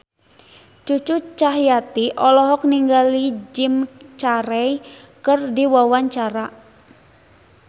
Cucu Cahyati olohok ningali Jim Carey keur diwawancara